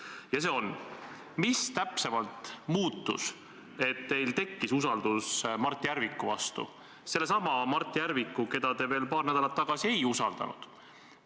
Ja see on: mis täpsemalt muutus, et teil tekkis usaldus Mart Järviku vastu, sellesama Mart Järviku vastu, keda te veel paar nädalat tagasi ei usaldanud?